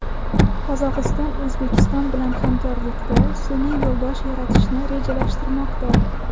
Qozog‘iston O‘zbekiston bilan hamkorlikda sun’iy yo‘ldosh yaratishni rejalashtirmoqda.